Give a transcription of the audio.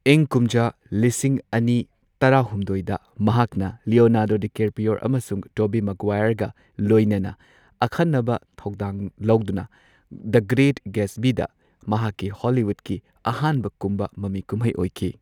ꯏꯪ ꯀꯨꯝꯖꯥ ꯂꯤꯁꯤꯡ ꯑꯅꯤ ꯇꯔꯥꯍꯨꯝꯗꯣꯏꯗ ꯃꯍꯥꯛꯅ ꯂꯤꯌꯣꯅꯥꯔꯗꯣ ꯗꯤꯀꯦꯄ꯭ꯔꯤꯑꯣ ꯑꯃꯁꯨꯡ ꯇꯣꯕꯤ ꯃꯒ꯭ꯋꯥꯢꯔꯒ ꯂꯣꯢꯅꯅ ꯑꯈꯟꯅꯕ ꯊꯧꯗꯥꯡ ꯂꯧꯗꯨꯅ ꯗ ꯒ꯭ꯔꯦꯠ ꯒꯦꯠꯁꯕꯤꯗ ꯃꯍꯥꯛꯀꯤ ꯍꯣꯂꯤꯋꯨꯗꯀꯤ ꯑꯍꯥꯟꯕ ꯀꯨꯝꯕ ꯃꯃꯤ ꯀꯨꯝꯍꯩ ꯑꯣꯏꯈꯤ꯫